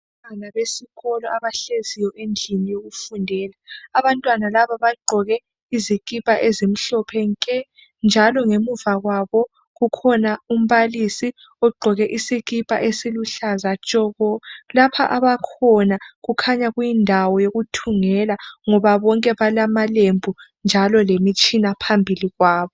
Abantwana besikolo abahlezi endlini yokufundela. Abantwana laba bagqoke izikipa ezimhlophe nke, njalo ngemuva kwabo kukhona umbalisi ogqoke isikipa esiluhlaza tshoko. Lapha abakhona kukhanya kuyindawo yekuthungela, ngoba bonke balamalembu njalo lemitshina phambili kwabo.